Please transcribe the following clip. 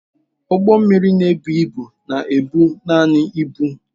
Ụgbọ mmiri na-ebu ibu na-ebu naanị ibu.